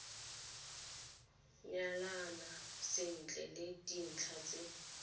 nyalana sentle le dintlha tse